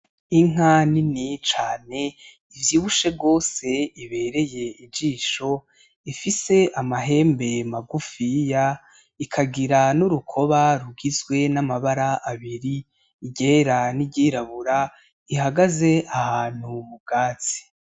Inka nini cane ivyibushe gose ibereye ijisho, ifise amahembe magufiya ikagira n'urukoba rugizwe n'amabara abiri iryera n'iryirabura ihagaze ahantu m'ubwatsi.